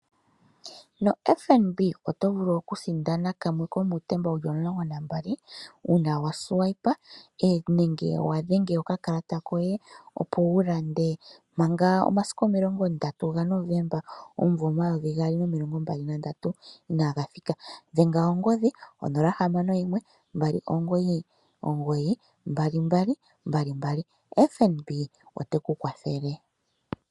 NoFNB oto vulu okusindana kamwe komuutemba wu li omulongo nuuyali uuna wa longitha okakalata okufuta iilandomwa yoye manga omasiku 30 Novemba 2023 inaaga thika. Dhenga ongodhi 061 2992222. FNB ote ku kwathele.